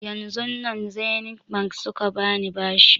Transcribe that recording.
Yanzun nan zenith bank suka bani bashi